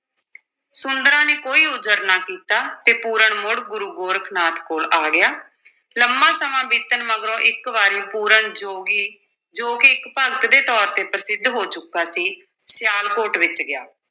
ਸੁੰਦਰਾਂ ਨੇ ਕੋਈ ਉਜਰ ਨਾ ਕੀਤਾ ਤੇ ਪੂਰਨ ਮੁੜ ਗੁਰੂ ਗੋਰਖ ਨਾਥ ਕੋਲ ਆ ਗਿਆ ਲੰਮਾਂ ਸਮਾਂ ਬੀਤਣ ਮਗਰੋਂ ਇਕ ਵਾਰੀ ਪੂਰਨ ਜੋਗੀ, ਜੋ ਕਿ ਇੱਕ ਭਗਤ ਦੇ ਤੌਰ ਤੇ ਪ੍ਰਸਿੱਧ ਹੋ ਚੁੱਕਾ ਸੀ, ਸਿਆਲਕੋਟ ਵਿੱਚ ਗਿਆ।